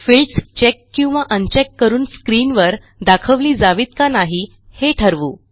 fields check किंवा un check करून स्क्रीनवर दाखवली जावीत का नाही हे ठरवू